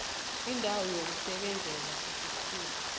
indawo yokusebenzela isikhulu